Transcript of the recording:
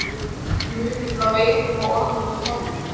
Hver er munurinn á veirum og ormum í tölvum?